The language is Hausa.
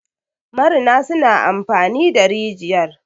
marina suna amfani da rijiyar